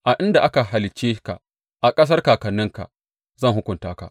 A inda aka halicce ka, a ƙasar kakanninka, zan hukunta ka.